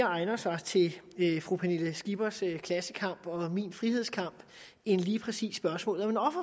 egner sig mere til fru pernille skippers klassekamp og min frihedskamp end lige præcis spørgsmålet om